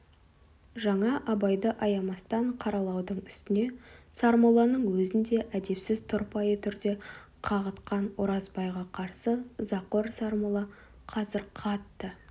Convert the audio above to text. жаңа абайды аямастан қаралаудың үстіне сармолланың өзін де әдепсіз тұрпайы түрде қағытқан оразбайға қарсы ызақор сармолла қазір қатты